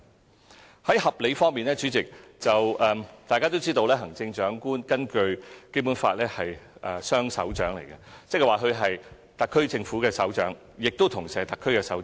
主席，在合理方面，大家都知道根據《基本法》，行政長官是雙首長，即他是特區政府的首長，亦同時是特區的首長。